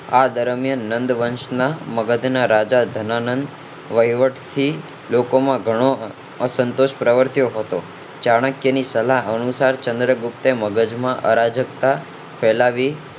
આ દરમિયાન નંદવંશ ના રાજા ધનાનંદ વહીવટી લોકો માં ઘણો અશંતોષ પ્રવર્તયો હતો ચાણક્ય ની સલાહ અનુસાર ચંદ્રગુપ્તે અરાજકતા ફેલાવી